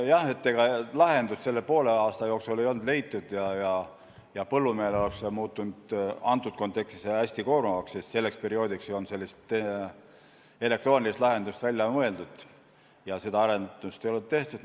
Jah, ega lahendust selle poole aasta jooksul ei olnud leitud ja põllumehele oleks see muutunud selles kontekstis hästi koormavaks, sest selleks perioodiks ei olnud sellist elektroonilist lahendust välja mõeldud ja seda arendust ei olnud tehtud.